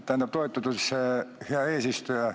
Aitäh, hea eesistuja!